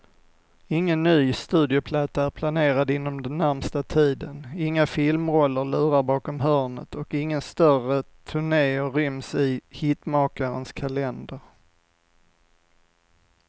Ingen ny studioplatta är planerad inom den närmaste tiden, inga filmroller lurar bakom hörnet och inga större turnéer ryms i hitmakarens kalender.